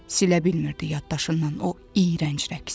Silə bilmirdi yaddaşından o iyrənc rəqsi.